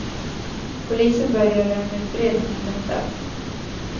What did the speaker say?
Polisen bör göra en utredning om detta.